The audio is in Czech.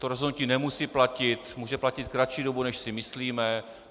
To rozhodnutí nemusí platit, může platit kratší dobu, než si myslíme.